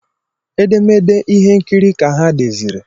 Edemede ihe nkiri ka ha deziri